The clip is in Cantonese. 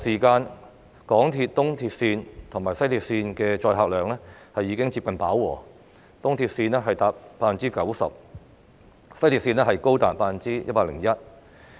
港鐵東鐵綫及西鐵綫在繁忙時間的載客量已經接近飽和，東鐵綫達 90%， 西鐵綫更高達 101%。